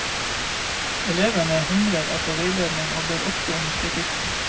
Elevene hungrer etter veiledning og ber ofte om kritikk.